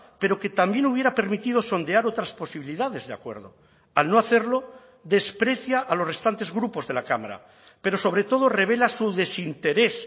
pero que también hubiera permitido sondear otras posibilidades de acuerdo al no hacerlo desprecia a los restantes grupos de la cámara pero sobre todo revela su desinterés